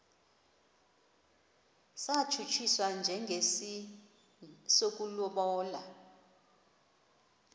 satshutshiswa njengesi sokulobola